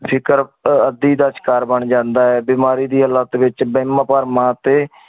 ਫਿਕੇਰ ਅਧਿ ਦਾ ਸ਼ਿਕਾਰ ਬਣ ਜਾਂਦਾ ਹੈ ਬਿਮਾਰੀ ਦੀ ਹਾਲਤ ਵਿਚ